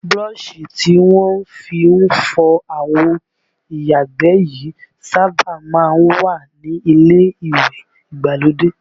Búrọ̀sì tí wọ́n fi ń fọ àwo ìyàgbẹ́ yìí sábà má ń wà ní ilé ìwẹ̀ ìgbàlódé